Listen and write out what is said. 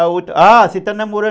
Ah, você está namorando?